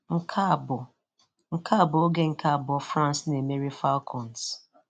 Nke a bụ Nke a bụ oge nke abụọ France na-emeri Falcons